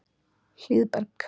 Hlíðberg